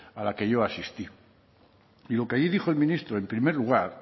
a la que yo asistí y lo que allí dijo el ministro en primer lugar